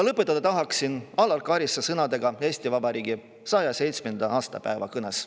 Lõpetada tahan Alar Karise sõnadega Eesti Vabariigi 107. aastapäeva kõnest. "